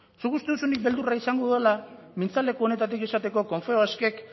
zuk uste duzu nik beldurra izango dudala mintzaleku honetatik esateko confebaskek